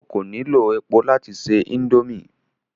O ko nilo epo lati se indomie